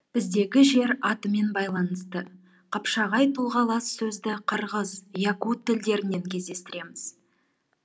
біздегі жер атымен байланысты қапшағай тұлғалас сөзді қырғыз якут тілдерінен кездестіреміз